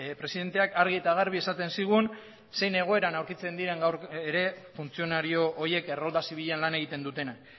presidenteak argi eta garbi esaten zigun zein egoeran aurkitzen diren gaur ere funtzionario horiek errolda zibilan lan egiten dutenak